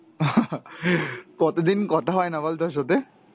কতদিন কথা হয়না বল তোর সাথে?